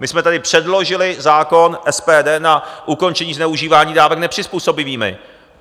My jsme tady předložili zákon SPD na ukončení zneužívání dávek nepřizpůsobivými.